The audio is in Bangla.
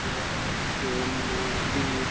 এখানে দেখা যাচ্ছে ন-দীর --